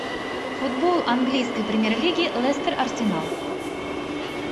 футбол английской премьер лиги лестер арсенал